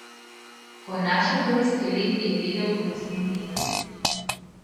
Ko je našel prvi skelet, je vedel, da ne sme odnehati.